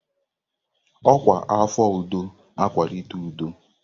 Ọkwa afọ udo na-akwalite udo.